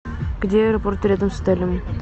где аэропорт рядом с отелем